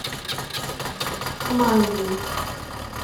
майей